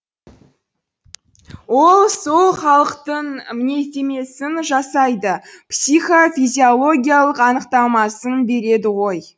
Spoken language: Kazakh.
ол сол халықтың мінездемесін жасайды психофизиологоиялық анықтамасын береді ғой